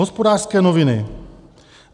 Hospodářské noviny -